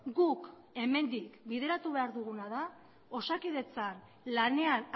guk hemendik bideratu behar duguna da osakidetzan lanean